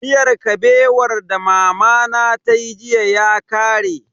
Miyar Kabewar da mamana tayi jiya ya kare.